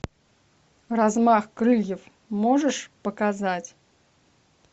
размах крыльев можешь показать